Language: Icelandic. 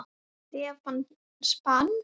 Stefán: Span?!